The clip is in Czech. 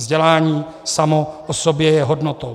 Vzdělání samo o sobě je hodnotou.